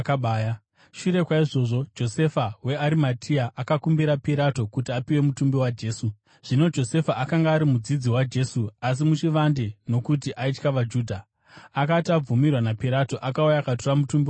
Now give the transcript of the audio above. Shure kwaizvozvo, Josefa weArimatea akakumbira Pirato kuti apiwe mutumbi waJesu. Zvino Josefa akanga ari mudzidzi waJesu, asi muchivande nokuti aitya vaJudha. Akati abvumirwa naPirato, akauya akatora mutumbi waJesu.